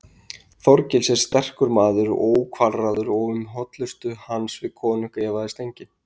Þorgils er sterkur maður og ókvalráður og um hollustu hans við konung efaðist enginn.